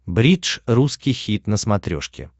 бридж русский хит на смотрешке